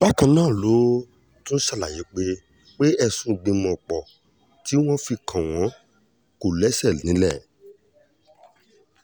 bákan náà ló tún ṣàlàyé pé pé ẹ̀sùn ìgbìmọ̀-pọ̀ tí wọ́n fi kàn wọ́n kò lẹ́sẹ̀ nílẹ̀